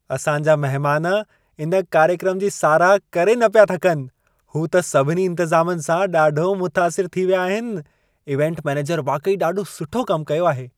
असां जा महिमान इन कार्यक्रम जी साराह करे न पिया थकनि। हू त सभिनी इंतज़ामनि सां ॾाढो मुतासिर थी विया आहिनि। इवेंट मैनेजर वाक़ई ॾाढो सुठो कम कयो आहे।